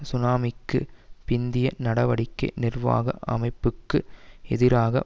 சுனாமிக்குப் பிந்திய நடவடிக்கை நிர்வாக அமைப்புக்கு எதிராக